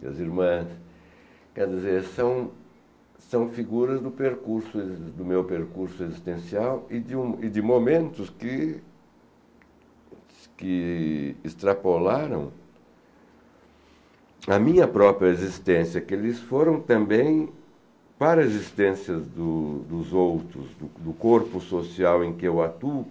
Minhas irmãs, quer dizer, são são figuras do percurso do meu percurso existencial e de um e de momentos que que extrapolaram a minha própria existência, que eles foram também para a existência do dos outros, do corpo social em que eu atuo.